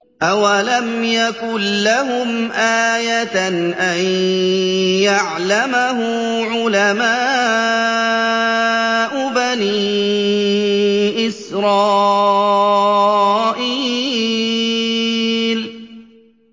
أَوَلَمْ يَكُن لَّهُمْ آيَةً أَن يَعْلَمَهُ عُلَمَاءُ بَنِي إِسْرَائِيلَ